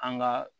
An ka